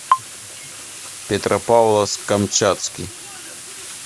петропавловск камчатский